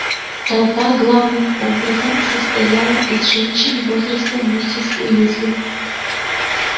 толпа главным образом состояла из женщин возраста миссис уизли